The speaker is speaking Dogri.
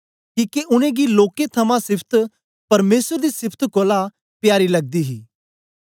किके उनेंगी लोकें थमां सिफत परमेसर दी सिफत कोल प्यारी लगदी ही